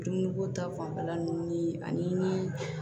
Dumuniko ta fanfɛla nunnu ni ani